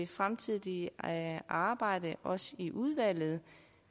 fremtidige arbejde også i udvalget